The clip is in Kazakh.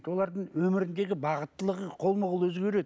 олардың өміріндегі бағыттылығы қолма қол өзгереді